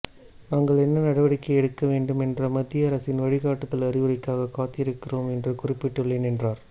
நாங்கள் என்ன நடவடிக்கை எடுக்க வேண்டும் என்ற மத்திய அரசின் வழிகாட்டுதல் அறிவுரைக்காக காத்திருக்கிறோம் என்று குறிப்பிட்டுள்ளேன் என்றார்